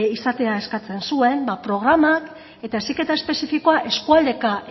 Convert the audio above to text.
izatea eskatzen zuen ba programak eta heziketa espezifikoa eskualdeka